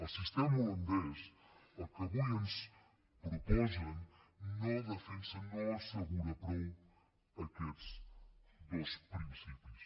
el sistema holandès el que avui ens proposen no defensa no assegura prou aquests dos principis